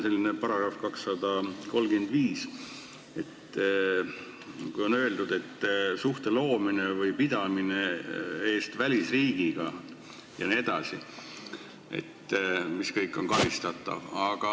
Siin on § 235, kus on öeldud, et suhte loomine või pidamine välisriigiga jne on karistatav.